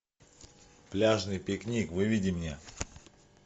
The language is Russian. пляжный пикник выведи мне